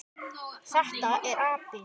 Þetta er api.